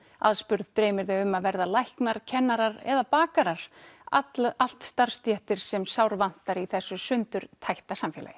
aðspurð dreymir þau um að verða læknar kennarar eða bakarar allt starfsstéttir sem sárvantar í þessu sundurtætta samfélagi